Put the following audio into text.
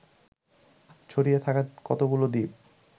ছড়িয়ে থাকা কতগুলো দ্বীপ